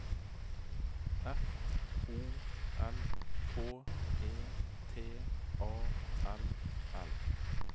F O L K E T A L L